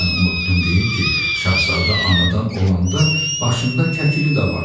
Mən unutdum deyim ki, şəhzadə anadan olanda başında kəkili də var idi.